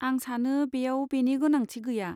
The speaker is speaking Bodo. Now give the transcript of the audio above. आं सानो बेयाव बेनि गोनांथि गैया।